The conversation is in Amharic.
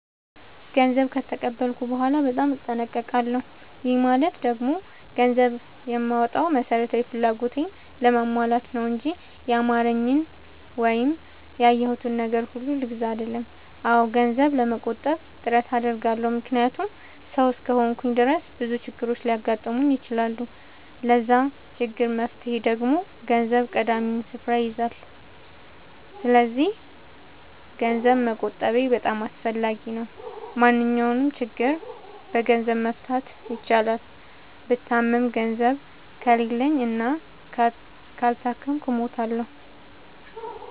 ገንዘብ ከተቀበልኩ በኋላ በጣም እጠነቀቃለሁ። ይህ ማለት ደግሞ ገንዘብ የማወጣው መሠረታዊ ፍላጎቴን ለማሟላት ነው እንጂ ያማረኝን ወይም ያየሁትን ነገር ሁሉ ልግዛ አልልም። አዎ ገንዘብ ለመቆጠብ ጥረት አደርጋለሁ። ምክንያቱም ሠው እስከሆንኩኝ ድረስ ብዙ ችግሮች ሊያጋጥሙኝ ይችላሉ። ለዛ ችግር መፍትሄ ደግሞ ገንዘብ ቀዳሚውን ስፍራ ይይዛል። ሰስለዚክ ገንዘብ መቆጠቤ በጣም አስፈላጊ ነው። ማንኛውንም ችግር በገንዘብ መፍታት ይቻላል። ብታመም ገንዘብ ከሌለኝ እና ካልታከምኩ እሞታሁ።